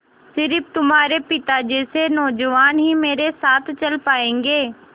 स़िर्फ तुम्हारे पिता जैसे नौजवान ही मेरे साथ चल पायेंगे